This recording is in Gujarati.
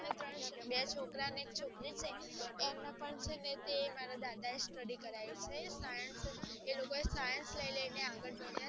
બે છોકરાને એક છોકરી છે એમને પણ તે મારા દાદા ને study કરાવી છે એ લોકો science લ્સીને ભાણીય